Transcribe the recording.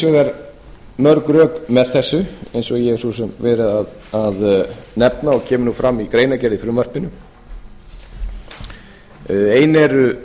vegar mörg rök með þessu eins og ég hef svo sem verið að nefna og kemur fram í greinargerð með frumvarpinu ein eru